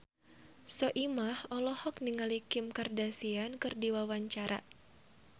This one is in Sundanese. Soimah olohok ningali Kim Kardashian keur diwawancara